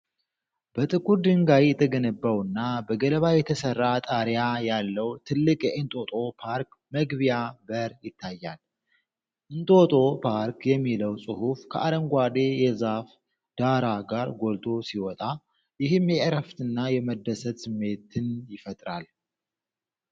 በጥቁር ድንጋይ የተገነባውና በገለባ የተሰራ ጣሪያ ያለው ትልቅ የእንጦጦ ፓርክ መግቢያ በር ይታያል። "እንጦጦ ፓርክ " የሚለው ጽሑፍ ከአረንጓዴ የዛፍ ዳራ ጋር ጎልቶ ሲወጣ፣ ይህም የእረፍትና የመደሰት ስሜትን ይፈጥራል።